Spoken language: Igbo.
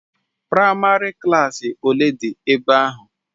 Praịmarị klassi ole dị ebe ahụ